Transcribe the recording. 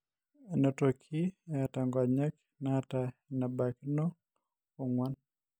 enotoki eeta inkayiok naata enebaikinoo ong'uan.